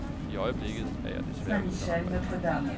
I øjeblikket er jeg desværre uden arbejde.